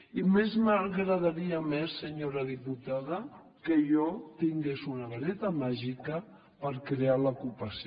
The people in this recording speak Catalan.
i res m’agradaria més senyora diputada que jo tingués una vareta màgica per crear l’ocupació